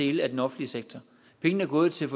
dele af den offentlige sektor pengene er gået til